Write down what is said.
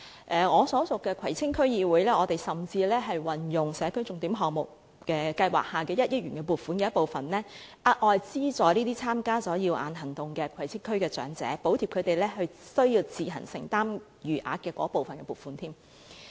我所屬的葵青區議會甚至運用了社區重點項目計劃下的1億元撥款的一部分，額外資助參加"耀眼行動"的葵青區長者，補貼他們須自行承擔的餘額。